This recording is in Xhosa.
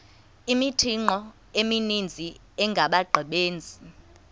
imithqtho emininzi engabaqbenzi